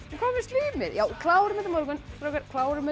hvað með slímið klárum þetta á morgun strákar klárum þetta